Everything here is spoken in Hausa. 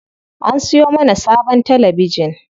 An siyo mana sabon talabijin.